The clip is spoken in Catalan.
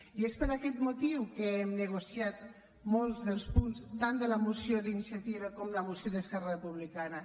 i és per aquest motiu que hem negociat molts dels punts tant de la moció d’iniciativa com de la moció d’esquerra republicana